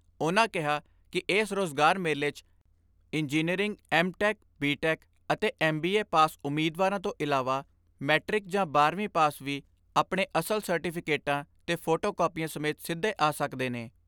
ਉਨ੍ਹਾਂ ਕਿਹਾ ਕਿ ਏਸ ਰੋਜ਼ਗਾਰ ਮੇਲੇ 'ਚ engineering M tech B tech ਅਤੇ ਐਮ ਬੀ ਏ ਪਾਸ ਉਮੀਦਵਾਰਾਂ ਤੋਂ ਇਲਾਵਾ ਮੈਟ੍ਰਿਕ ਜਾਂ ਬਾਰਵੀਂ ਪਾਸ ਵੀ ਆਪਣੇ ਅਸਲ ਸਰਟੀਫੀਕੇਟਾਂ ਤੇ ਫੋਟੋ ਕਾਪੀਆਂ ਸਮੇਤ ਸਿੱਧੇ ਆ ਸਕਦੇ ਨੇ।